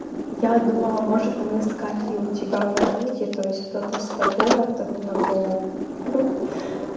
я думала может мы с катей у тебя в комнате то есть кто-то с тобой а кто-то на полу ха-ха